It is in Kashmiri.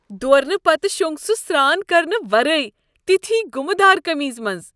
دوٗرنہٕ پتہٕ شوٚنگ سُہ سران کرنہٕ ورٲے تٔتھۍ گُمہ دار قمیضہ منز۔